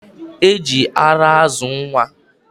E ji ara azụ nwa.